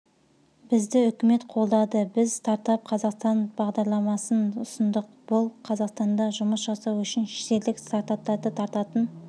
бізді үкімет қолдады біз стартап қазақстан бағдарламасын ұсындық бұл қазақстанда жұмыс жасау үшін шетелдік стартаптарды тартатын